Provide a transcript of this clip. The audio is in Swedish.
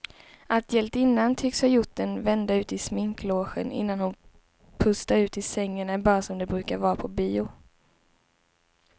Att hjältinnan tycks ha gjort en vända ut i sminklogen innan hon pustar ut i sängen är bara som det brukar vara på bio.